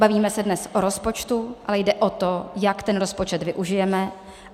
Bavíme se dnes o rozpočtu, ale jde o to, jak ten rozpočet využijeme.